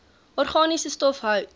organiese stof hout